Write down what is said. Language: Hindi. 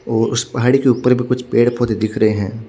और उस पहाड़ी के उपर एक कुछ पेड़ पोधे दिख रहे है।